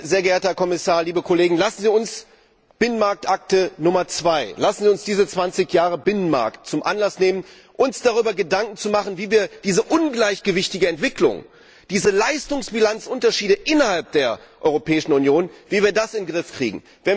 Sehr geehrter Herr Kommissar, liebe Kollegen, lassen Sie uns die Binnenmarktakte Nummer II, lassen Sie uns diese 20 Jahre Binnenmarkt zum Anlass nehmen, uns darüber Gedanken zu machen, wie wir diese ungleichgewichtige Entwicklung, diese Leistungsbilanzunterschiede innerhalb der Europäischen Union, wie wir das in den Griff bekommen.